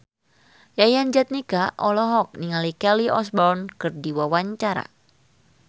Yayan Jatnika olohok ningali Kelly Osbourne keur diwawancara